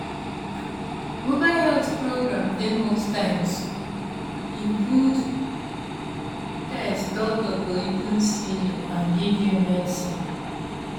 mobile health program dey most times include test doctor go even see you and give you medicine.